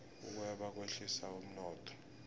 ukweba kwehlisa umnotho